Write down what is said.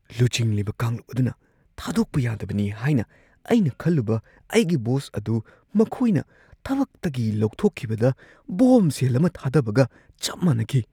ꯂꯨꯆꯤꯡꯂꯤꯕ ꯀꯥꯡꯂꯨꯞ ꯑꯗꯨꯅ ꯊꯥꯗꯣꯛꯄ ꯌꯥꯗꯕꯅꯤ ꯍꯥꯏꯅ ꯑꯩꯅ ꯈꯜꯂꯨꯕ ꯑꯩꯒꯤ ꯕꯣꯁ ꯑꯗꯨ ꯃꯈꯣꯏꯅ ꯊꯕꯛꯇꯒꯤ ꯂꯧꯊꯣꯛꯈꯤꯕꯗ ꯕꯣꯝꯕꯁꯦꯜ ꯑꯃ ꯊꯥꯗꯕꯒ ꯆꯞ ꯃꯥꯟꯅꯈꯤ ꯫